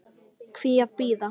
Hví að bíða?